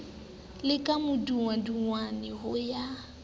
le ka madungwadungwana ho ya